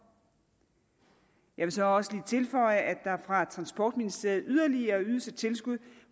jeg vil så også lige tilføje at der fra transportministeriet yderligere ydes et tilskud